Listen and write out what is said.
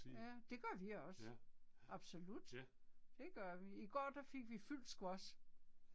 Ja. Det gør vi også, absolut. Det gør vi. I går der fik vi fyldt squash